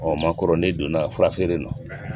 Ɔ ma kɔrɔlen donna a furaselen don.